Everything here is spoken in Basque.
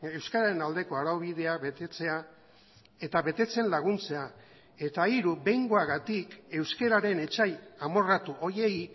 euskararen aldeko araubidea betetzea eta betetzen laguntzea eta hiru behingoagatik euskararen etsai amorratu horiei